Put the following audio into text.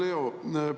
Hea Leo!